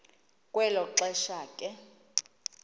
kwelo xesha ke